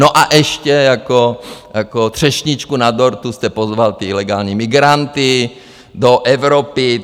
No a ještě jako třešničku na dortu jste pozval ty ilegální migranty do Evropy.